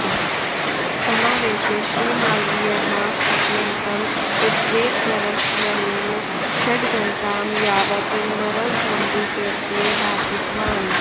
समावेशे श्रीमालवीयः अत्यन्तम् उद्वेगभरस्वरेण षड्घण्टां यावत् नरवधमधिकृत्य भाषितवान्